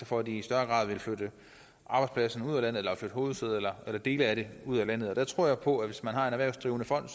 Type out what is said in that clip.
for at de i større grad vil flytte arbejdspladserne ud af landet eller flytte hovedsædet eller eller dele af det ud af landet der tror jeg på at hvis man har en erhvervsdrivende fond